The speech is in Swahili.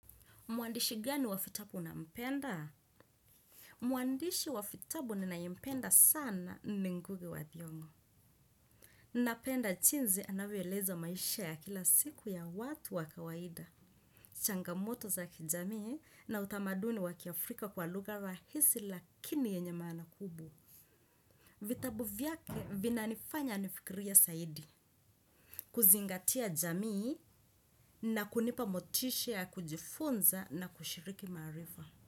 Mwandishi gani wa vitabu unampenda. Mwandishi wa vitabu ninayempenda sana ni ngugi wa thiongo. Napenda jinsi anavyoeleza maisha ya kila siku ya watu wa kawaida. Changamoto za kijamii na utamaduni wakiafrika kwa lugha rahisi lakini yenye maana kubwa. Vitabu vyake vina nifanya nifikirie zaidi. Kuzingatia jamii na kunipa motisha ya kujifunza na kushiriki maarifa.